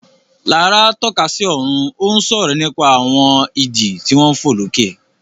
Lará tọ́ka sí ọ̀run, ó ń sọ̀rọ̀ nípa àwọn idì tí wọ́n ń fò lókè.